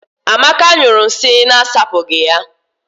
Amaka nyụrụ nsị na-asapụghị ya.